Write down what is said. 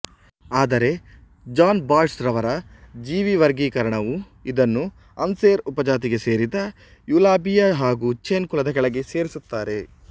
ಆದರೆ ಜಾನ್ ಬಾಯ್ಡ್ಸ್ರರವರ ಜೀವಿವರ್ಗೀಕರಣವು ಇದನ್ನು ಅನ್ಸೆರ್ ಉಪಜಾತಿಗೆ ಸೇರಿದ ಯೂಲಾಬಿಯಾ ಹಾಗೂ ಚೆನ್ ಕುಲದ ಕೆಳೆಗೆ ಸೇರಿಸುತ್ತಾರೆ